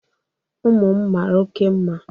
ụmụ m mara oke mma